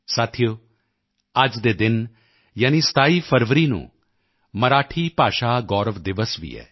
ਸਾਥੀਓ ਅੱਜ ਦੇ ਦਿਨ ਯਾਨੀ 27 ਫਰਵਰੀ ਨੂੰ ਮਰਾਠੀ ਭਾਸ਼ਾ ਗੌਰਵ ਦਿਵਸ ਵੀ ਹੈ